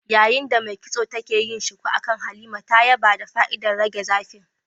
Yayin da mai kitson take yin shuku akan Halima, ta yaba da fa'idar rage zafin